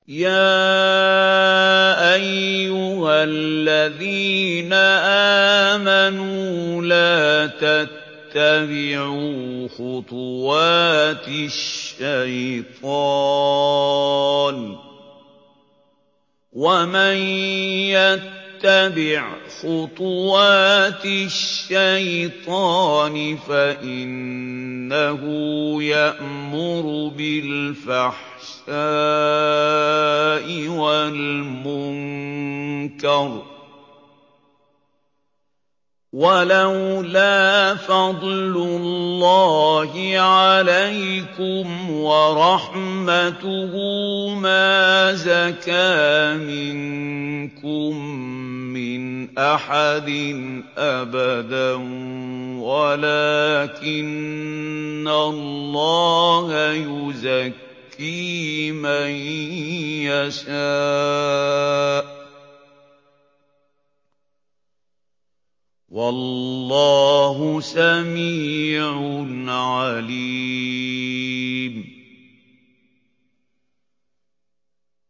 ۞ يَا أَيُّهَا الَّذِينَ آمَنُوا لَا تَتَّبِعُوا خُطُوَاتِ الشَّيْطَانِ ۚ وَمَن يَتَّبِعْ خُطُوَاتِ الشَّيْطَانِ فَإِنَّهُ يَأْمُرُ بِالْفَحْشَاءِ وَالْمُنكَرِ ۚ وَلَوْلَا فَضْلُ اللَّهِ عَلَيْكُمْ وَرَحْمَتُهُ مَا زَكَىٰ مِنكُم مِّنْ أَحَدٍ أَبَدًا وَلَٰكِنَّ اللَّهَ يُزَكِّي مَن يَشَاءُ ۗ وَاللَّهُ سَمِيعٌ عَلِيمٌ